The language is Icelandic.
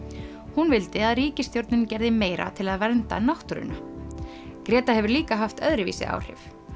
hún vildi að ríkisstjórnin gerði meira til að vernda náttúruna hefur líka haft öðruvísi áhrif